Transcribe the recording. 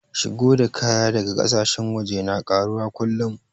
Shigo da kaya daga ƙasashen waje na ƙaruwa kullum